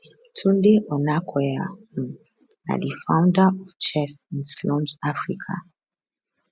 tunde onakoya um na di founder of chess in slums africa